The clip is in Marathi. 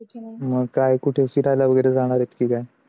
मग काय कुठे फिरायला वगैरे जाणार आहे का कुठे काय?